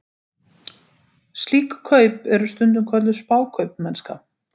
Slík kaup eru stundum kölluð spákaupmennska.